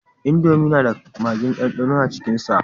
Indomi na da magin dandano a cikin sa